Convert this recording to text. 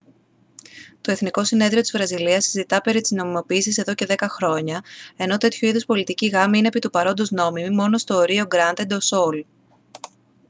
το εθνικό συνέδριο της βραζιλίας συζητά περί της νομιμοποίησης εδώ και δέκα χρόνια ενώ τέτοιου είδους πολιτικοί γάμοι είναι επί του παρόντος νόμιμοι μόνο στο ρίο γκράντε ντο σουλ